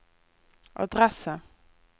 adresse